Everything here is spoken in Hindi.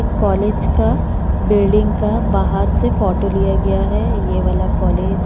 एक कोलेज का बिल्डिंग का बाहर से फोटो लिया गिया है ये वाला कोलेज --